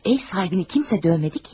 Ev sahibini kimsə döymədi ki.